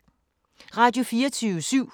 Radio24syv